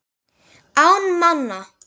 Án manna.